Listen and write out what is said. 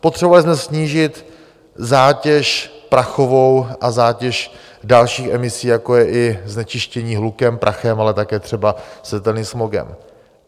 Potřebovali jsme snížit zátěž prachovou a zátěž dalších emisí, jako je i znečištění hlukem, prachem, ale také třeba světelným smogem.